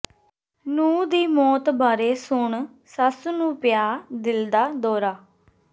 ਨੂੰਹ ਦੀ ਮੌਤ ਬਾਰੇ ਸੁਣ ਸੱਸ ਨੂੰ ਪਿਆ ਦਿਲ ਦਾ ਦੌਰਾ